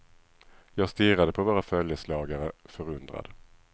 Jag stirrade på våra följeslagare, förundrad.